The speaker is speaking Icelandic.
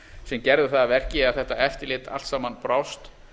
sem gerðu það að verkum að þetta eftirlit allt saman brást